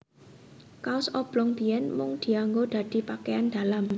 Kaos oblong biyèn mung dianggo dadi pakeyan dalam